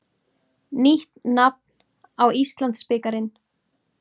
Nýtt nafn á Íslandsbikarinn.